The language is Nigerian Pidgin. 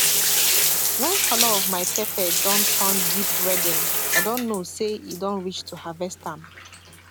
when the color of my pepper don turn deep redden i don know say e don reach to harvest am